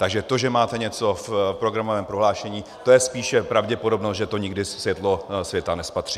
Takže to, že máte něco v programovém prohlášení, to je spíše pravděpodobnost, že to nikdy světlo světa nespatří.